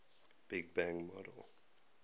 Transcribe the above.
big bang model